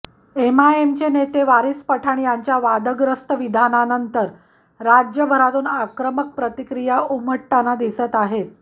एमआयएमचे नेते वारीस पठाण यांच्या वादग्रस्त विधानानंतर राज्यभरातून आक्रमक प्रतिक्रिया उमटताना दिसत आहेत